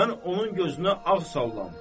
Mən onun gözünə ağ sallam.